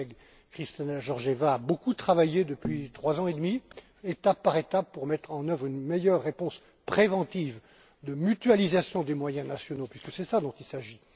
Ma collègue, Kristalina Georgevia, a beaucoup travaillé depuis trois ans et demi, étape par étape, pour mettre en œuvre une meilleure réponse préventive de mutualisation des moyens nationaux puisque c'est cela dont il s'agit.